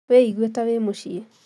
Wĩ igue ta wĩ muciĩ